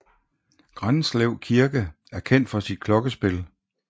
Granslev Kirke er kendt for sit klokkespil